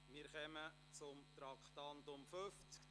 Wir kommen zum Traktandum 50.